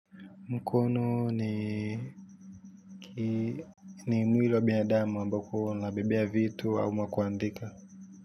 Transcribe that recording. Mkono ni mwili wa binadamu ambako unabebea vitu ama kuandika.